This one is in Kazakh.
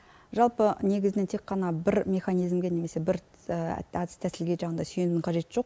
жалпы негізінен тек қана бір механизмге немесе бір әдіс тәсілге жаңағындай сүйенудің қажеті жоқ